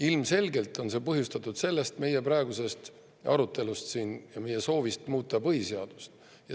Ilmselgelt on see põhjustatud meie praegusest arutelust siin ja meie soovist muuta põhiseadust.